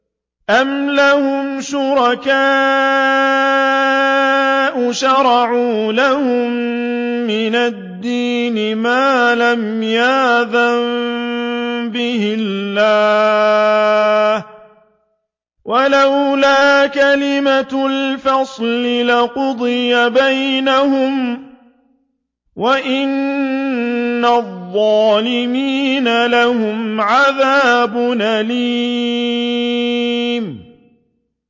أَمْ لَهُمْ شُرَكَاءُ شَرَعُوا لَهُم مِّنَ الدِّينِ مَا لَمْ يَأْذَن بِهِ اللَّهُ ۚ وَلَوْلَا كَلِمَةُ الْفَصْلِ لَقُضِيَ بَيْنَهُمْ ۗ وَإِنَّ الظَّالِمِينَ لَهُمْ عَذَابٌ أَلِيمٌ